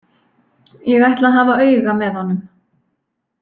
Ég ætla að hafa auga með honum.